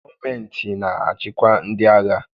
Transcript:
Gọọmentị na-achịkwa ndị agha.